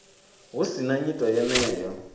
hu si na nyito yeneyo